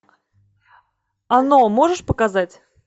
оно можешь показать